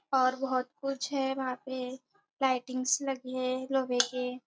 और बहुत कुछ है वहां पे लाइटिंग्स लगी है लोहे के--